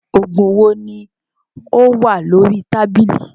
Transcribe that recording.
Oògùn wo ni ó wà lórí tábìlì